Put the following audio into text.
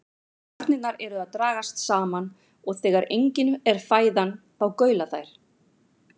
Garnirnar eru að dragast saman og þegar engin er fæðan þá gaula þær.